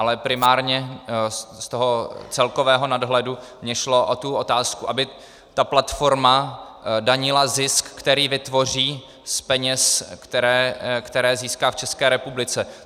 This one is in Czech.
Ale primárně z toho celkového nadhledu mně šlo o tu otázku, aby ta platforma danila zisk, který vytvoří z peněz, které získá v České republice.